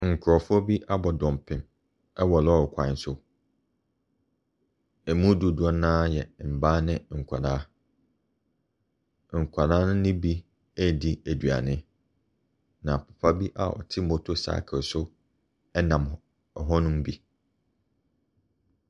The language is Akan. Nkurɔfoɔ bi abɔ dɔmpem wɔ lɔɔre kwan so. Ɛmu dodoɔ no ara yɛ mmaa ne nkwadaa. Nkwadaa ne bi ɛredi aduane. Na papa bi ɔte motto cycle so nam hɔnom bi.